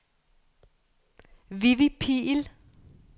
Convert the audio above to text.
Vivi Pihl